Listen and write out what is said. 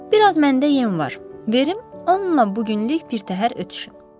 Biraz məndə yem var, verim, onunla bu günlük birtəhər ötüşün.